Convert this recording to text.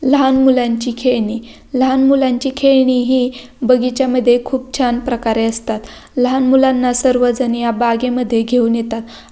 लहान मुलांची खेळणी लहान मुलांची खेळणी हि बगीच्या मध्ये खूप छान प्रकारे असतात लहान मुलांना सर्वजण या बागेमध्ये घेऊन येतात.